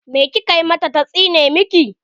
Me kika mata ta tsine miki?